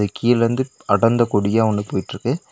கீழருந்து அடர்ந்த கொடியா ஒன்னு போயிட்ருக்கு.